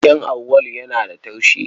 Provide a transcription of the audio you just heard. Keken Auwalu yana da taushi.